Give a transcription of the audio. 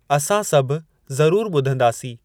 असां सभु ज़रूर ॿुधंदासीं।